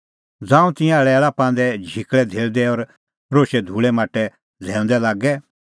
ज़ांऊं तिंयां लैल़ा लांदै झिकल़ै धेल़दै और रोशै धूल़ै माटै झ़ैऊंदै लागै